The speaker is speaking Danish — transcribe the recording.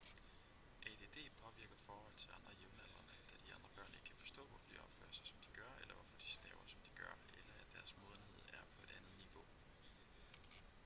add påvirker forhold til andre jævnaldrende da de andre børn ikke kan forstå hvorfor de opfører sig som de gør eller hvorfor de staver som de gør eller at deres modenhed er på et andet niveau